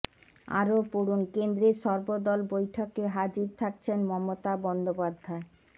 আরও পড়ুন কেন্দ্রের সর্বদল বৈঠকে হাজির থাকছেন মমতা বন্দোপাধ্যায়